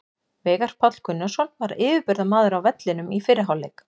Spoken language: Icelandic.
Veigar Páll Gunnarsson var yfirburðamaður á vellinum í fyrri hálfleik.